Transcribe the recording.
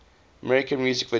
american music video